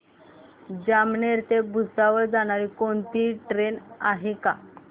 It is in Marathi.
जामनेर ते भुसावळ जाणारी कोणती ट्रेन आहे का